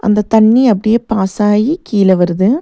இந்த தண்ணி அப்டியே பாஸாயி கீழ வருது.